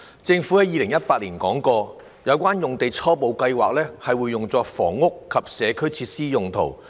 政府在2018年表示，有關用地初步計劃用作房屋及社區設施用途。